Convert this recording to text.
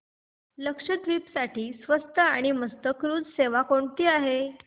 लक्षद्वीप साठी स्वस्त आणि मस्त क्रुझ सेवा कोणती आहे